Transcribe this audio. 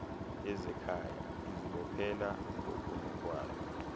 yezekhaya izibophelela ngokunokwayo